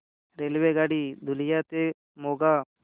रेल्वेगाडी लुधियाना ते मोगा